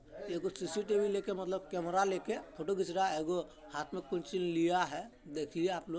एगो सी-सी-टीवी लेके मतलब कैमरा लेके फोटो खिच रहा है एगो हाथ मे कोन चीज लिया है देखिए आप लोग--